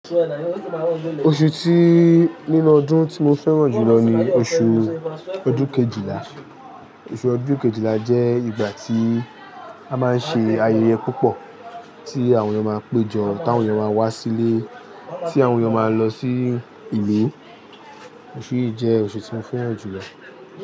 Oṣù tí nínú ọdún tí mo fẹ́ràn jùlọ ni oṣù ọdún kejìlá. Oṣù ọdún kejìlá jẹ́ ìgbà tí a máa ń ṣe ayẹyẹ púpọ̀, tí àwọn èèyàn máa ń péjọ, tí àwọn èèyàn máa ń wá sílé, tí àwọn èèyàn máa ń lọ sí ìlú. Oṣù yìí jẹ́ oṣù tí mo fẹ́ràn jùlọ.